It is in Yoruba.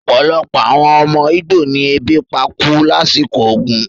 Opolopo awon omo Igbo ni ebi pa ku lasiko ogun